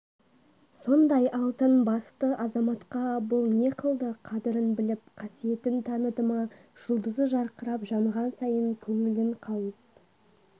сондай алтын басты азаматқа бұл не қылды қадырын біліп қасиетін таныды ма жұлдызы жарқырап жанған сайын көңілін қауіп